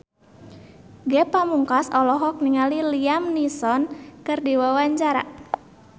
Ge Pamungkas olohok ningali Liam Neeson keur diwawancara